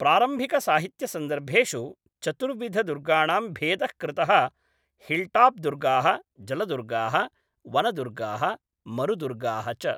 प्रारम्भिकसाहित्यसन्दर्भेषु चतुर्विधदुर्गाणां भेदः कृतः हिल्टॉप् दुर्गाः, जलदुर्गाः, वनदुर्गाः, मरुदुर्गाः च ।